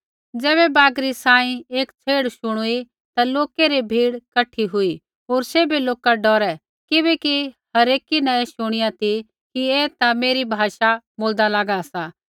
ज़ैबै बागरी सांही एक छ़ेड़ शुणुई ता लोकै री भीड़ कठी हुई होर सैभै लोका डौरै किबैकि हरेकी न ऐ शुणिया ती कि ऐ ता मेरी भाषा बोलदा लागा सा